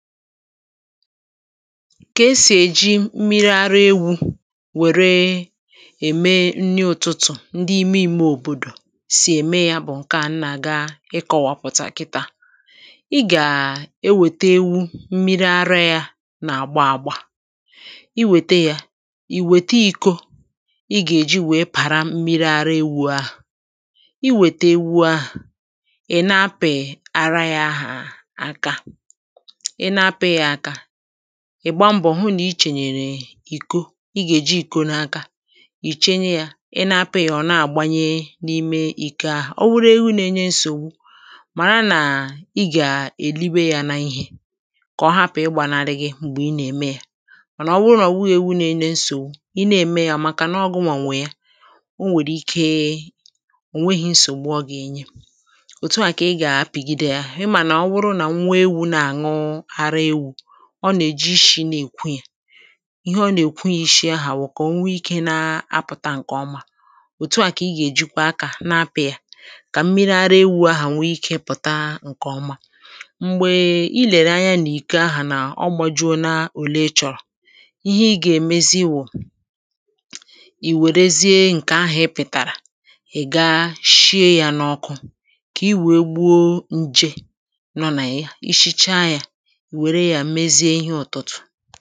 ka esì èji mmiri ara ewu wère ème nni ụtụtụ̀ ndị ime ime òbòdò sì ème ya bụ̀ ǹke à nà-àga ịkọ̇wapụ̀tà kịtȧ à i gà-ewète ewu mmiri ara yȧ nà-àgba àgbà i wète yȧ ì wète ikȯ i gà-èji wèe pàra mmiri ara ewu̇ ahụ̀ i wète ewu̇ ahụ̀ ì na-apị̀ ara yȧ àka ị gbaa mbọ̀ hụ nà ichènyèrè ìko ị gà-èji ìko n’aka ìchenye yȧ ị na apị̇yȧ ọ̀ na-àgbanye n’ime ị̀ka o wuru ewu̇ nà-enye nsògbu mà na nà ị gà-èlibe yȧ n’ihè kà ọ hapụ̀ ịgbȧ na-arịghị m̀gbè ị nà-ème yȧ ọ nà ọ wụrụ nà ọ̀ wụghị̇ ewu̇ nà-enye nsògbu ị na-ème yȧ màkà nà ọ gụ̇nwànwè ya o nwèrè ike ò nweghi̇ nsògbu ọ gà-ènye òtù à kà ị gà-àpigide yȧ ọ nà-èji ishi̇ nà-èkwụ ya ihe ọ nà-èkwụ ya ishi̇ ahụ̀ kà o nwee ikė na-apụ̀tà ǹkè ọma òtù à kà ị gà-èji kwa akȧ na-apụ̇ ya kà mmịrị̇ ara ewu̇ ahụ̀ nwee ikė ịpụ̀ta ǹkè ọma m̀gbè i lèrè anya nà ike ahụ̀ nà ọ bụjụ nà-èle chọ̀rọ̀ ihe ị gà-èmezi wụ̀ ì wèrezie ǹkè ahụ̀ e pìtàrà ị̀ gashie ya n’ọkụ kà i wèe gbuo nje nọ nà ya ishicha ya ǹdewo o nwèrè ike ihe dị̇ ihe dị̇ ihe dị̇ à dịtụ̀màkwà màkà ihe dị̇ à mèzìe ihe ụtụtụ̀